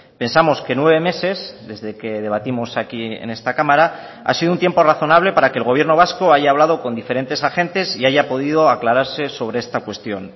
pensamos que nueve meses desde que debatimos aquí en esta cámara ha sido un tiempo razonable para que el gobierno vasco haya hablado con diferentes agentes y haya podido aclararse sobre esta cuestión